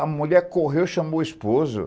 A mulher correu e chamou o esposo.